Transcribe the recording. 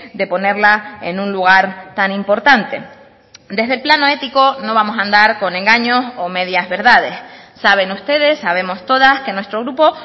de ponerla en un lugar tan importante desde el plano ético no vamos a andar con engaños o medias verdades saben ustedes sabemos todas que nuestro grupo